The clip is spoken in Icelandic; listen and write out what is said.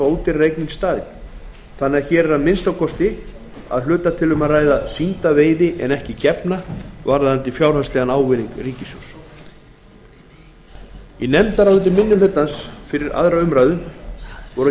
í staðinn þannig að hér er að minnsta kosti að hluta til um að ræða sýnda veiði en ekki gefna varðandi fjárhagslegan ávinning ríkissjóðs í nefndaráliti minni hlutans fyrir aðra umræðu um frumvarpið voru